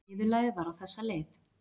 Niðurlagið var á þessa leið